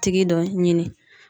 Tigi dɔ ɲini.